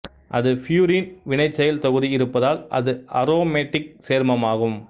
அது பியூரின் வினைசெயல் தொகுதி இருப்பதால் அது அரோமேட்டிக் சேர்மமாகும்